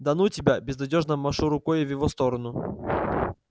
да ну тебя безнадёжно машу рукой в его сторону